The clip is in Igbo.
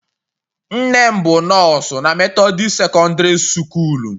Nne m bụ nọọsụ na methodist secondiri sukool.